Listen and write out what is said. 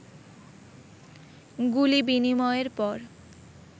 গুলি বিনিময়ের পর